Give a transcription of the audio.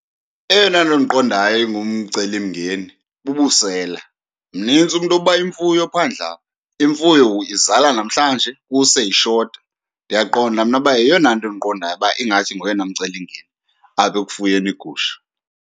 Eyona nto ndiqondayo ingumcelimngeni bubusela. Mnintsi umntu oba imfuyo phandle apha, imfuyo izala namhlanje kuse ishota. Ndiyaqonda mna uba yeyona nto endiqondayo uba ingathi ngoyena mcelimngeni apha ekufuyeni iigusha.